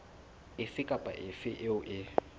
efe kapa efe eo e